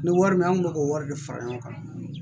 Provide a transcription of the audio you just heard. Ni wari min kun bɛ k'o wari de fara ɲɔgɔn kan